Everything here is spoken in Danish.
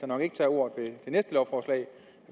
nok ikke tager ordet ved næste lovforslag